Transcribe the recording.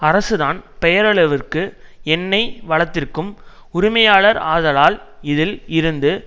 அரசுதான் பெயரளவிற்கு எண்ணெய் வளத்திற்கும் உரிமையாளர் ஆதலால் இதில் இருந்து